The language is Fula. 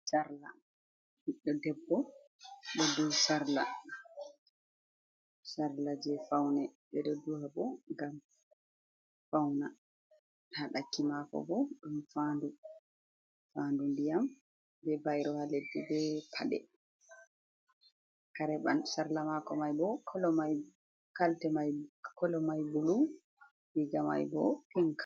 Sarla. Ɓiddo debbo ɗo duhi sarla, sarla jee faune. Ɓe ɗo duha bo ngam fauna. haa ɗakki maako bo ɗum faɲdu. Faɲdu ndiyam bee bairo haa leddi, bee paɗe. Kare mai, sarla mako mai bo, kolo mai bulu, riiga mai bo pink.